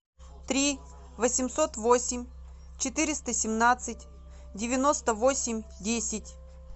три восемьсот восемь четыреста семнадцать девяносто восемь десять